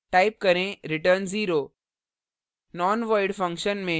type करें return 0;